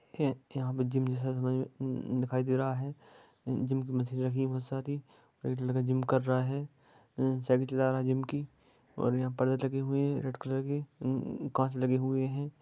यहाँ पर जिम जैसा दिखाई दे रहा है|जिम की मशीन रखी है बहुत सारी| एक लड़का जिम कर रहा है साइकल चला रहा है जिम की और यहाँ पर्दे लगे हुई है रेड कलर के कांच लगे हुए हैं।